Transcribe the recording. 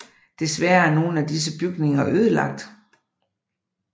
Desværre er nogle af disse bygninger ødelagt